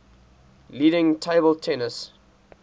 leading table tennis